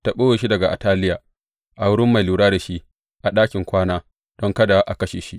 Ta ɓoye shi daga Ataliya a wurin mai lura da shi a ɗakin kwana; don kada a kashe shi.